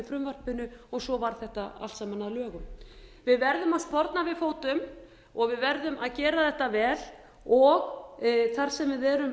frumvarpinu og svo varð þetta allt saman að lögum við verðum að sporna við fótum og við verðum að gera þetta vel þar sem við erum